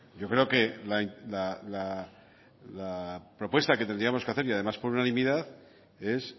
yo creo que la propuesta que tendríamos que hacer y además por unanimidad es